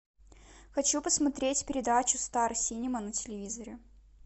хочу посмотреть передачу стар синема на телевизоре